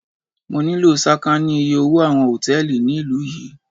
Mo nílò sàkání iye owó àwọn Hòtẹ́lìì ní ìlú yí.